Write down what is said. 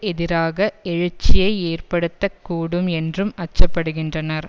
எதிராக எழுச்சியை ஏற்படுத்த கூடும் என்றும் அச்சப்படுகின்றனர்